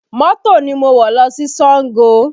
Mọ́tò ni mo wọ̀ lọ sí Sango